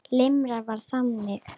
Limran var þannig: